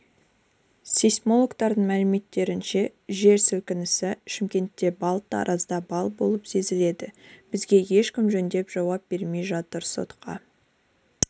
сейсмологтардың мәліметтерінше жер сілкінісі шымкентте балл таразда баллболып сезілді бізге ешкім жөндеп жауап бермей жатыр сотқа